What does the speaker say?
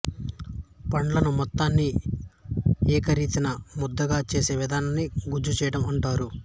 పండ్లను మొత్తాన్ని ఏకరీతిన ముద్దగా చేసే విధానాన్నే గుజ్జుచేయడం అంటారు